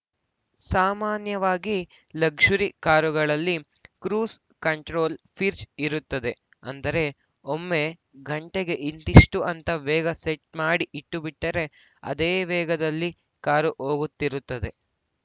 ಸಾಮಾನ್ಯವಾಗಿ ಲಕ್ಷುರಿ ಕಾರುಗಳಲ್ಲಿ cruise control ಫೀರ್ಚ್ ಇರುತ್ತದೆ ಅಂದ್ರೆ ಒಮ್ಮೆ ಗಂಟೆಗೆ ಇಂತಿಷ್ಟುಅಂತ ವೇಗ್‌ ಸೆಟ್‌ ಮಾಡಿ ಇಟ್ಟುಬಿಟ್ಟರೆ ಅದೇ ವೇಗದಲ್ಲಿ ಕಾರು ಹೋಗುತ್ತಿರುತ್ತದೆ